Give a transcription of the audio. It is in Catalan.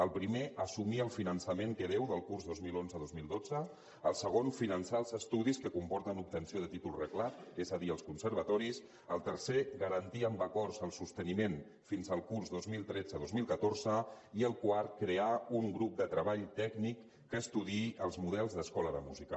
el primer assumir el finançament que deu del curs dos mil onze dos mil dotze el segon finançar els estudis que comporten l’obtenció de títol reglat és a dir els conservatoris el tercer garantir amb acords el sosteniment fins al curs dos mil tretze dos mil catorze i el quart crear un grup de treball tècnic que estudiï els models d’escola de música